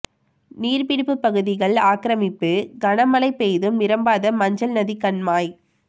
நீா்ப்பிடிப்பு பகுதிகள் ஆக்கிரமிப்பு கன மழை பெய்தும் நிரம்பாத மஞ்சள் நதி கண்மாய்